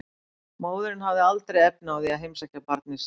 Móðirin hefði aldrei haft efni á því að heimsækja barnið sitt.